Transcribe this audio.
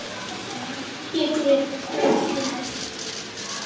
Pétur yppti öxlum.